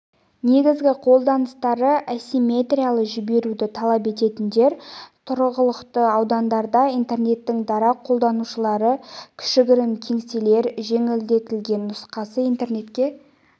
негізгі қолданылыстары ассиметриялы жіберуді талап ететіндер тұрғылықты аудандарда интернеттің дара қолданушылары кішігірім кеңселер жеңілдетілген нұсқасы интернетке